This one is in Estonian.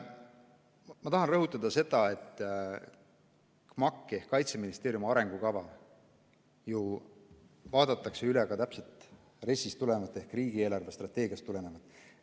Ma tahan rõhutada seda, et KMAK ehk Kaitseministeeriumi arengukava vaadatakse täpselt RES-ist tulenevalt ehk riigi eelarvestrateegiast tulenevalt üle.